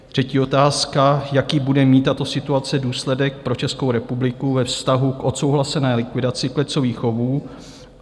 Třetí otázka: Jaký bude mít tato situace důsledek pro Českou republiku ve vztahu k odsouhlasené likvidaci klecových chovů?